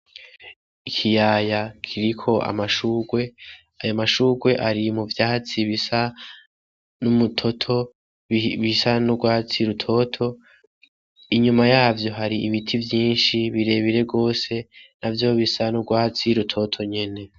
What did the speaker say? Ikiyaya kiriko amashurwe aya amashurwe ari mu vyatsi bisa n'umutoto bisa n'urwatsi y' rutoto inyuma yavyo hari imiti vyinshi birebire rwose na vyo bisa n'urwatsi y' rutoto nyene.